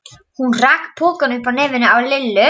Hún rak pokann upp að nefinu á Lillu.